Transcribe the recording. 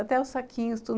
Até os saquinhos, tudo.